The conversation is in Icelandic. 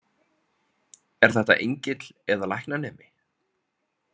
Er þetta engill eða læknanemi?